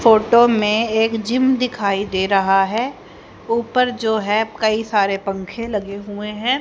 Photo में एक gym दिखाई दे रहा है। उपर जो है कई सारे पंखे लगे हुए हैं।